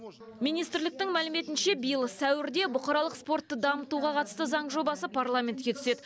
министрліктің мәліметінше биыл сәуірде бұқаралық спортты дамытуға қатысты заң жобасы парламентке түседі